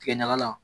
Tigɛ ɲaga la